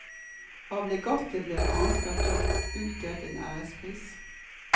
Av legatet blir det annet hvert år utdelt en ærespris.